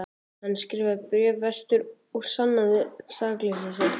Hann skrifaði bréf vestur og sannaði sakleysi sitt.